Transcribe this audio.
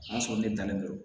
O y'a sɔrɔ ne dannen don